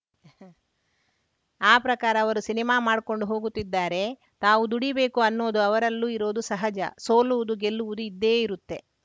ಆ ಪ್ರಕಾರ ಅವರು ಸಿನಿಮಾ ಮಾಡ್ಕೊಂಡು ಹೋಗುತ್ತಿದ್ದಾರೆ ತಾವು ದುಡಿಬೇಕು ಅನ್ನೋದು ಅವರಲ್ಲೂ ಇರೋದು ಸಹಜ ಸೋಲುವುದು ಗೆಲ್ಲುವುದು ಇದ್ದೇ ಇರುತ್ತೆ